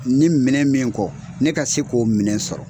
Ni minɛ min kɔ ne ka se k'o minɛn sɔrɔ